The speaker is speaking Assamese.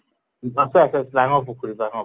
আছে আছে ডাঙৰ পুখুৰী ডাঙৰ